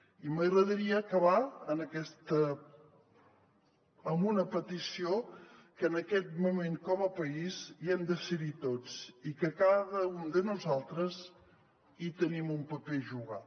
i m’agradaria acabar amb una petició que en aquest moment com a país hi hem de ser tots i que cada un de nosaltres hi tenim un paper a jugar